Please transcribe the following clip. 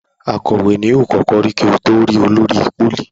Akòwé ní yóò kókó rí kò to lẹ rí olórí polí.